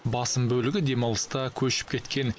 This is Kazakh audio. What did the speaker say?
басым бөлігі демалыста көшіп кеткен